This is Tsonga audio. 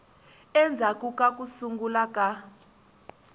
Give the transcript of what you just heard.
endzhaku ka ku sungula ka